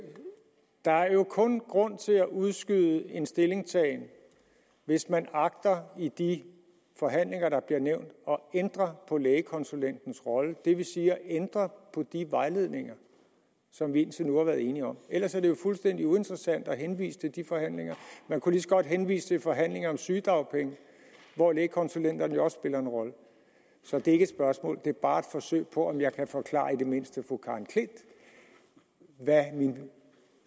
der er jo kun grund til at udskyde en stillingtagen hvis man agter i de forhandlinger der bliver nævnt at ændre på lægekonsulentens rolle det vil sige ændre på de vejledninger som vi indtil nu har været enige om ellers er det jo fuldstændig uinteressant at henvise til de forhandlinger man kunne lige så godt henvise til forhandlinger om sygedagpenge hvor lægekonsulenterne jo også spiller en rolle så det er ikke et spørgsmål det er bare et forsøg på om jeg kan forklare i det mindste fru karen klint hvad mit